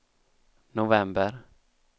november